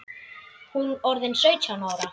Hún orðin sautján ára.